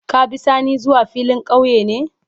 Ka be sani zuwa filin kauye ne?